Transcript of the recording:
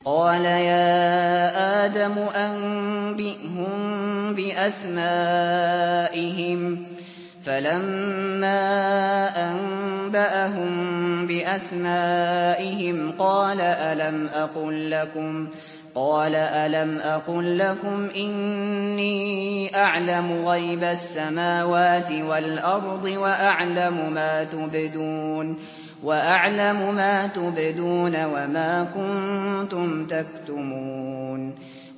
قَالَ يَا آدَمُ أَنبِئْهُم بِأَسْمَائِهِمْ ۖ فَلَمَّا أَنبَأَهُم بِأَسْمَائِهِمْ قَالَ أَلَمْ أَقُل لَّكُمْ إِنِّي أَعْلَمُ غَيْبَ السَّمَاوَاتِ وَالْأَرْضِ وَأَعْلَمُ مَا تُبْدُونَ وَمَا كُنتُمْ تَكْتُمُونَ